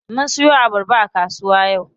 Mun siyo abarba a kasuwa yau.